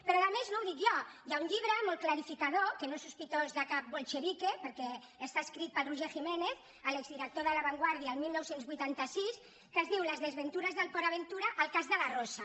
però a més no ho dic jo hi ha un llibre molt clarificador que no és sospitós de cap bolchevique perquè està escrit per roger jiménez l’exdirector de la vanguardia1986 que es diu les desventures de port aventura el cas de la rosa